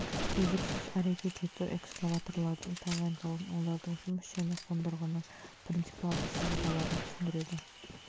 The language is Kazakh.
үздіксіз әрекет ету экскаваторлардың тағайындалуын олардың жұмыс және қондырғының принципиалды сызбаларын түсіндіреді